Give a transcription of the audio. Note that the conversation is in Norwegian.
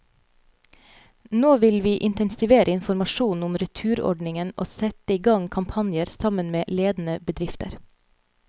Nå vil vi intensivere informasjonen om returordningen og sette i gang kampanjer, sammen med ledende bedrifter.